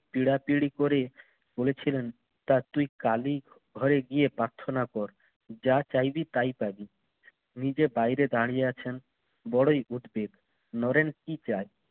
পীড়াপিড়ি করে বলেছিলেন, তা তুই কালীর ঘরে গিয়ে প্রার্থনা কর। যা চাইবি তাই পাবি। নিজে বাইরে দাঁড়িয়ে আছেন বড়ই উদ্বেগ। নরেন কি চায়?